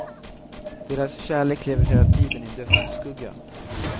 Deras kärlek lever hela tiden i dödsskugga.